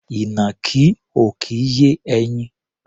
Ìnàkí ò kì í yé ẹyin.